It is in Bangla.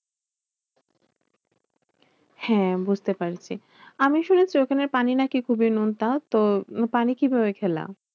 হ্যাঁ বুঝতে পারছি। আমি শুনেছি ওখানের পানি নাকি খুবই নোনতা? তো পানি কিভাবে খেলা?